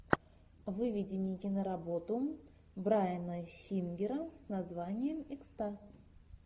выведи мне киноработу брайана сингера с названием экстаз